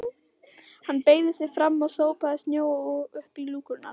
Hann beygði sig fram og sópaði snjó upp í lúkurnar.